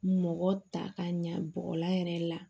Mɔgɔ ta ka ɲa bɔgɔla yɛrɛ la